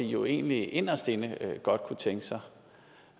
jo egentlig inderst inde godt kunne tænke sig